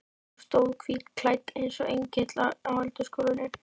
Hún stóð hvítklædd eins og engill á eldhúsgólfinu.